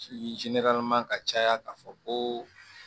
ka caya ka fɔ ko